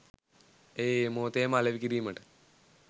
එය ඒ මොහොතේම අලෙවි කිරීමට